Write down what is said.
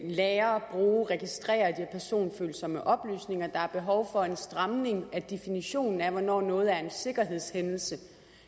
lagre og bruge og registrere personfølsomme oplysninger der er behov for en stramning af definitionen af hvornår noget er en sikkerhedshændelse